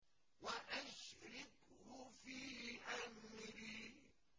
وَأَشْرِكْهُ فِي أَمْرِي